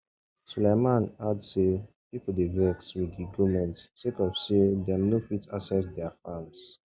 sulaiman add say pipo dey vex wit di goment sake of say dem no fit access dia farms